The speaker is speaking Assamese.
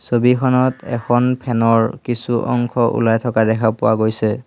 ছবিখনত এখন ফেন ৰ কিছু অংশ ওলাই থকা দেখা পোৱা গৈছে।